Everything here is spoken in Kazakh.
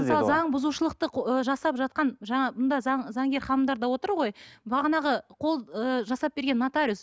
мысалы заң бұзушылықты ы жасап жатқан жаңа мұнда заң заңгер ханымдар да отыр ғой бағанағы қол ы жасап берген нотариус